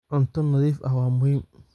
Cunto nadiif ah waa muhiim.